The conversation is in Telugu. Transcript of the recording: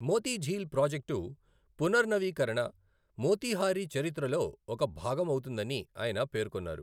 మోతీఝీల్ ప్రాజెక్టు పునర్ నవీకరణ మోతీహారీ చరిత్రలో ఒక భాగం అవుతుందని ఆయన పేర్కొన్నారు.